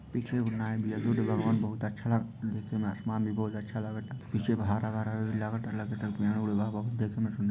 पीछे बनाएल भी है बुद्ध भगवान बहुत अच्छा लगता देखेमें आसमान भी बहुत अच्छा लगता| पीछे हरा-भरा भी लगता लगता पेड़- वेड़ बा देखेमें सुन्दर--